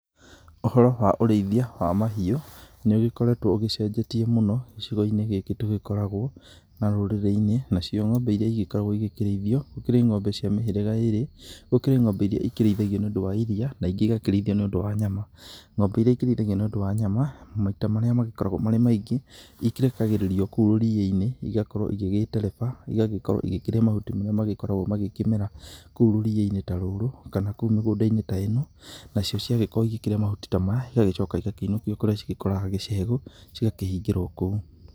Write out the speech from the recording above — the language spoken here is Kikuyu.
Ũhoro wa ũrĩithia wa mahiũ nĩ ũgĩkoretwo ũgĩcenjetie mũno gĩcigo-inĩ gĩkĩ tũgĩkoragwo na rũrĩrĩ-inĩ, nacio ng'ombe iria igĩkoragwo igĩkĩrĩithio, gũkĩrĩ ng'ombe cia mĩhĩrĩga ĩrĩ. Gũkĩrĩ ng'ombe iria ikĩrĩithagio nĩũndũ wa iria, na ingĩ igakĩrĩithio nĩũndũ wa nyama. Ng'ombe iria ikĩrĩithagio nĩũndũ wa nyama, maita marĩa magĩkoragwo marĩ maingĩ ikĩrekagĩrĩrio kou rũriĩ-inĩ, igakorwo igĩgĩtereba, igagĩkorwo igĩkĩrĩa mahuti marĩa magĩkoragwo magĩkĩmera kou rũriĩni ta rũrũ kana kou mĩgũnda-inĩ ta ĩno, nacio ciagĩkorwo igĩkĩrĩa mahuti ta maya, igagĩcoka igakĩinũkio kũrĩa cigĩkoraga gĩcegũ, cigakĩhingĩrwo kũu.